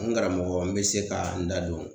N karamɔgɔ n bɛ se ka n da don